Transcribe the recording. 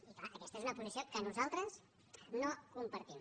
i clar aquesta és una posició que nosaltres no compartim